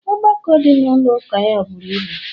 ọgbakọ dị na ụlọ ụka ya buru ibu